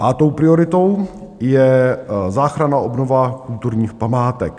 Pátou prioritou je záchranná obnova kulturních památek.